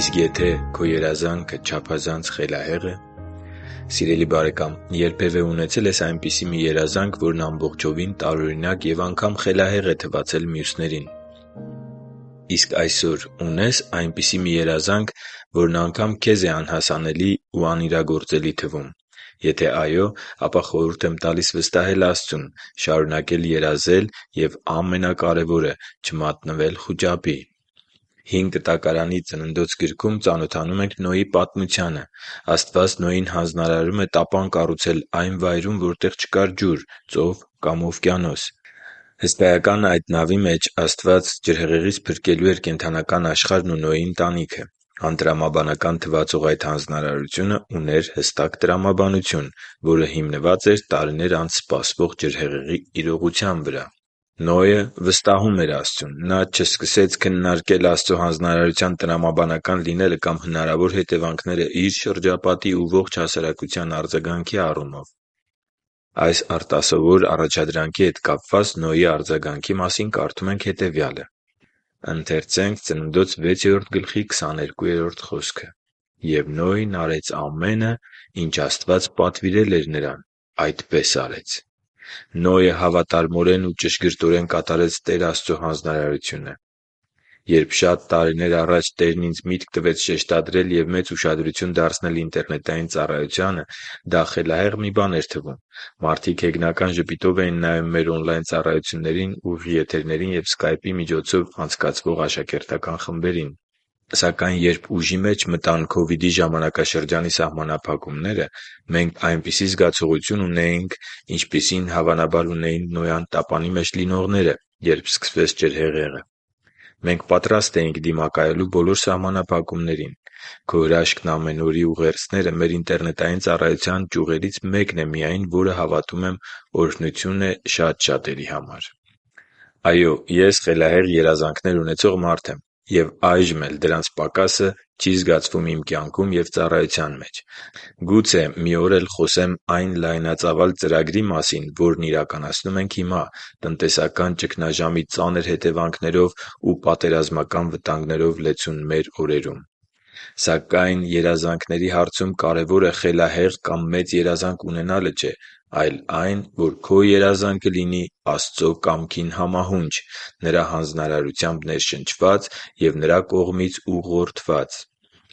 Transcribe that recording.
Իսկ եթե քո երազանքը չափազանց խելահե՞ղ է․․․ Սիրելի՛ բարեկամ, երբևէ ունեցե՞լ ես այնպիսի մի երազանք, որն ամբողջովին տարօրինակ և անգամ խելահեղ է թվացել մյուսներին․․․ Իսկ այսօր ունե՞ս այնպիսի մի երազանք, որն անգամ քեզ է անհասանելի ու անիրագործելի թվում: Եթե այո, ապա խորհուրդ եմ տալիս վստահել Աստծուն, շարունակել երազել և ամենակարևորը՝ չմատնվել խուճապի: Հին Կտակարանի Ծննդոց գրքում ծանոթանում ենք Նոյի պատմությանը։ Աստված Նոյին հանձնարարում է տապան կառուցել այն վայրում, որտեղ չկար ջուր՝ ծով կամ օվկիանոս։ Հսկայական այդ նավի մեջ Աստված ջրհեղեղից փրկելու էր կենդանական աշխարհն ու Նոյի ընտանիքը։ Անտրամաբանական թվացող այդ հանձնարարությունը ուներ հստակ տրամաբանություն, որը հիմնված էր տարիներ անց սպասվող ջրհեղեղի իրողության վրա: Նոյը վստահում էր Աստծուն։ Նա չսկսեց քննարկել Աստծո հանձնարարության տրամաբանական լինելը կամ հնարավոր հետևանքները իր շրջապատի ու ողջ հասարակության արձագանքի առումով։ Այս արտասովոր առաջադրանքի հետ կապված Նոյի արձագանքի մասին կարդում ենք հետևյալը. «Եվ Նոյն արեց ամենը, ինչ Աստված պատվիրել էր նրան. այդպես արեց» (Ծննդոց 6․22)։ Նոյը հավատարմորեն ու ճշգրտորեն կատարեց Տեր Աստծո հանձնարարությունը: Երբ շատ տարիներ առաջ Տերն ինձ միտք տվեց շեշտադրել և մեծ ուշադրություն դարձնել ինտերնետային ծառայությանը, դա խելահեղ մի բան էր թվում։ Մարդիկ հեգնական ժպիտով էին նայում մեր օնլայն ծառայություններին, ուղիղ եթերներին և սկայպի միջոցով անցկացվող աշակերտական խմբերին։ Սակայն երբ ուժի մեջ մտան Քովիդի ժամանակաշրջանի սահմանափակումները, մենք այնպիսի զգացողություն ունեինք, ինչպիսին, հավանաբար, ունեին Նոյան տապանի մեջ լինողները, երբ սկսվեց ջրհեղեղը։ Մենք պատրաստ էինք դիմակայելու բոլոր սահմանափակումներին։ «Քո հրաշքն ամեն օր»-ի ուղերձները մեր ինտերնետային ծառայության ճյուղերից մեկն է միայն, որը, հավատում եմ, օրհնություն է շատ շատերի համար: Այո՛, ես խելահեղ երազանքներ ունեցող մարդ եմ։ Եվ այժմ էլ դրանց պակասը չի զգացվում իմ կյանքում և ծառայության մեջ։ Գուցե մի օր էլ խոսեմ այն լայնածավալ ծրագրի մասին, որն իրականացնում ենք հիմա՝ տնտեսական ճգնաժամի ծանր հետևանքներով ու պատերազմական վտանգներով լեցուն մեր օրերում։ Սակայն երազանքների հարցում կարևորը խելահեղ կամ մեծ երազանք ունենալը չէ, այլ այն, որ քո երազանքը լինի Աստծո կամքին համահունչ՝ Նրա հանձնարարությամբ ներշնչված և Նրա կողմից ուղղորդված։